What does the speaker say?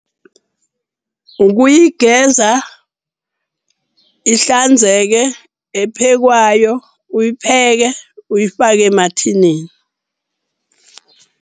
Ukuyigeza ihlanzekile ephekwayo, uyipheke uyifake emathinini.